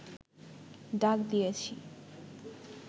ডাক দিয়েছি